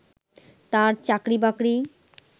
তার চাকরিবাকরি